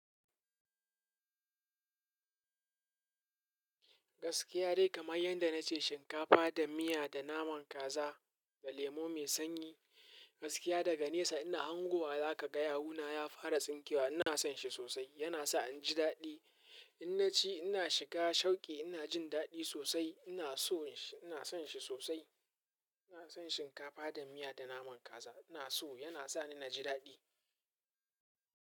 Gaskiya dai kamar yanda na ce shinkafa da miya da naman kaza da lemo mai sanyi, gaskiya daga nesa ina hango wa zaka ga yawuna ya fara tsinkewa. Ina son shi sosai. Yana sa in ji daɗi. In na ci ina shiga shauƙi. Ina jin daɗi sosai. Ina so, ina son shi sosai. Ina son shinkafa da miya da naman kaza. Ina so yana sa ni na ji daɗi.